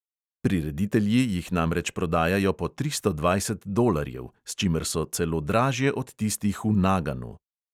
Prireditelji jih namreč prodajajo po tristo dvajset dolarjev, s čimer so celo dražje od tistih v naganu.